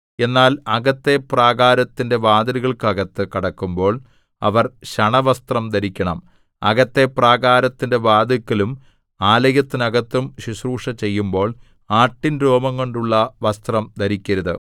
എന്നാൽ അകത്തെ പ്രാകാരത്തിന്റെ വാതിലുകൾക്കകത്തു കടക്കുമ്പോൾ അവർ ശണവസ്ത്രം ധരിക്കണം അകത്തെ പ്രാകാരത്തിന്റെ വാതില്‍ക്കലും ആലയത്തിനകത്തും ശുശ്രൂഷ ചെയ്യുമ്പോൾ ആട്ടിൻ രോമംകൊണ്ടുള്ള വസ്ത്രം ധരിക്കരുത്